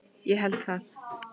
Ég held það.